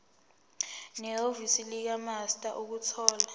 nehhovisi likamaster ukuthola